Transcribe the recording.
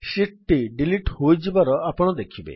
sheet ଟି delete ହୋଇଯିବାର ଆପଣ ଦେଖିବେ